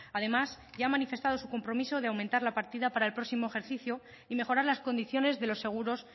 además ya ha manifestado su compromiso de aumentar la partida para el próximo ejercicio y mejorar las condiciones de los seguros